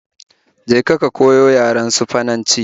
Je ka ka koyi yaren Sifananci